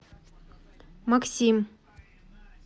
максим